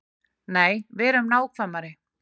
Nei, verum nákvæmari.